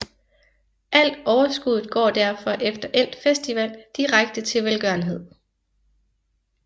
Alt overskuddet går derfor efter endt festival direkte til velgørenhed